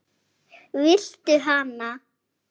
Viltu hana?